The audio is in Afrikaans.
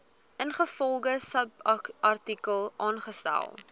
ingevolge subartikel aangestel